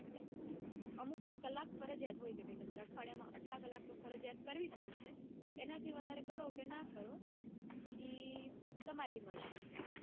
અમુક કલાક ફરિજયાત હોય કે ભાઈ તમારે અઠવાડિયામાં આટલા કલાક તો ફરિજયાત કરવી જ પડશે એનાથી વધારે કરો કે ના કરો ઈ તમારી મરજી છે.